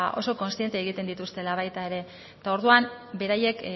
oso kontziente egiten dituztela baita ere eta orduan beraiek